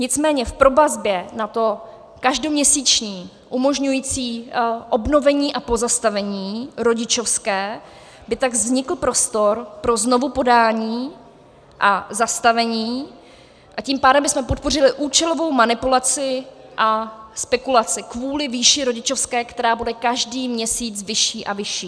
Nicméně v provazbě na to každoměsíční umožňující obnovení a pozastavení rodičovské by tak vznikl prostor pro znovupodání a zastavení, a tím pádem bychom podpořili účelovou manipulaci a spekulaci kvůli výši rodičovské, která bude každý měsíc vyšší a vyšší.